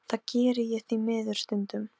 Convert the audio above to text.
Ég ætti alls ekki að vekja hann.